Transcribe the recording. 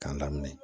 K'a daminɛ